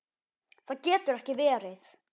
Það getur ekki verið